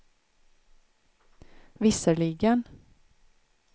visserligen